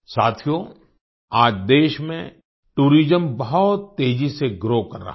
साथियो आज देश में टूरिज्म बहुत तेजी से ग्रो कर रहा है